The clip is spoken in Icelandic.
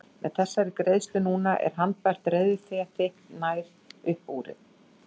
Með þessari greiðslu núna er handbært reiðufé þitt nær upp urið.